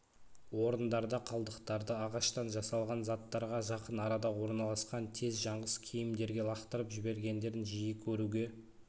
орындарда қалдықтарды ағаштан жасалған заттарға жақын арада орналасқан тез жаңғыш киімдерге лақтырып жібергендерін жиі көруге